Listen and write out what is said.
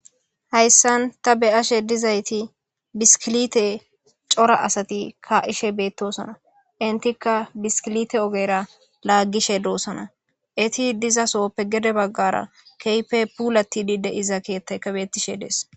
Hayssan ta beyashe dizayti biskilite cora asati ka7ishe beettosana intika biskilite ogera laaggishe doosana eti dizasoppe gede baggara keype pulatidi deiza keettaykabetishe dees.